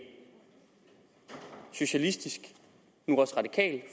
socialistisk nu også radikal